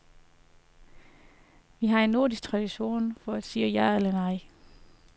Vi har en nordisk tradition for at sige ja eller nej.